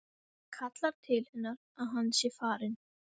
Kallar til hennar að hann sé farinn.